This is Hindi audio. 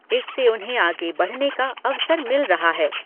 इससे उन्हें आगे बढ़ने का अवसर मिल रहा है।